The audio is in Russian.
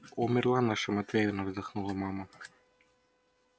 умерла наша матвеевна вздохнула мама